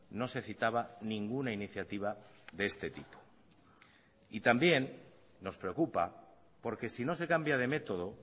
no se citaba ninguna iniciativa de este tipo y también nos preocupa porque si no se cambia de método